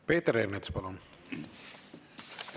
Peeter Ernits, palun!